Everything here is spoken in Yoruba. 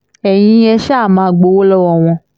ẹ̀yin ẹ ṣáà má gbowó lọ́wọ́ wọn